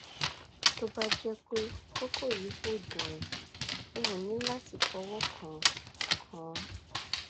tó bá jẹ pé kókó yìí kò dùn ẹ o ní láti fọwọ kàn án kàn án